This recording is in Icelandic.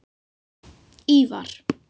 Ívar